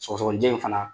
Sɔgɔsɔgɔnijɛ in fana